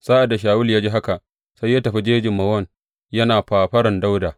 Sa’ad da Shawulu ya ji haka, sai ya tafi jejin Mawon yana fafaran Dawuda.